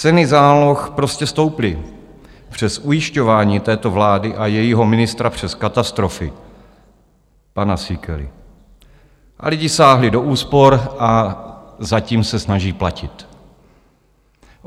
Ceny záloh prostě stouply, přes ujišťování této vlády a jejího ministra přes katastrofy pana Síkely, a lidi sáhli do úspor a zatím se snaží platit.